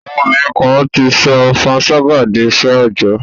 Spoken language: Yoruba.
À̀wọn obínrin kan ti sọ panṣágà di iṣẹ́ òòjọ́.